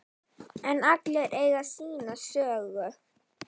En allir eiga sína sögu.